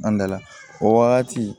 An dala o wagati